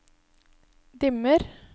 dimmer